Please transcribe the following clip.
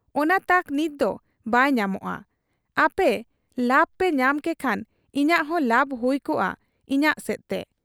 ᱚᱱᱟ ᱛᱟᱠ ᱱᱤᱛᱫᱚ ᱵᱟᱭ ᱧᱟᱢᱚᱜ ᱟ ᱾ ᱟᱯᱮ ᱞᱟᱵᱽᱯᱮ ᱧᱟᱢ ᱠᱮᱠᱷᱟᱱ ᱤᱧᱟᱹᱜ ᱦᱚᱸ ᱞᱟᱵᱽ ᱦᱩᱭ ᱠᱚᱜ ᱟ ᱤᱧᱟᱹᱜ ᱥᱮᱫ ᱛᱮ ᱾